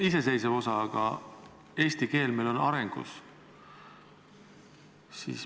Iseseisev osa, jah, aga eesti keel on arengus.